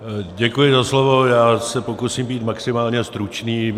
Děkuji za slovo, já se pokusím být maximálně stručný.